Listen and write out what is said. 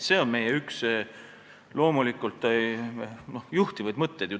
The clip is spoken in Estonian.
See on üks meie juhtivaid mõtteid.